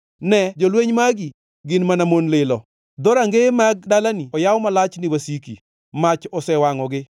Ne jolweny magi; gin mana mon lilo! Dhorangeye mag dalani oyaw malich ni wasiki; mach osewangʼogi.